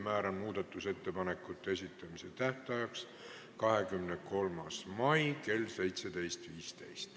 Määran muudatusettepanekute esitamise tähtajaks 23. mai kell 17.15.